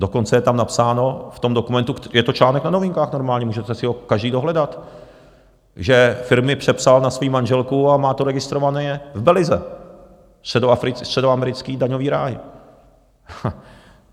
Dokonce je tam napsáno v tom dokumentu - je to článek na Novinkách normálně, můžete si ho každý dohledat - že firmy přepsal na svoji manželku a má to registrované v Belize, středoamerický daňový ráj.